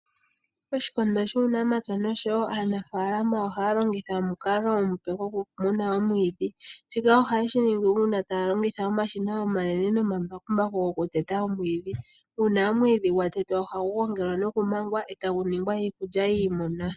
Oshindo shUunamapya noshowo aanafaalama ohaya longitha omukalo omupe gokumwa omwiidhi. Shika ohaye shi ningi uuna taya longitha omashina omanene nomambakumbaku gokuteta omwiidhi. Uuna omwiidhi gwa tetwa ohagu gongelwa nokumangwa e tagu ningwa iikulya yiimuna.